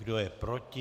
Kdo je proti?